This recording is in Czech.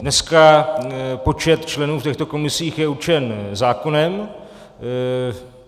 Dneska počet členů v těchto komisích je určen zákonem.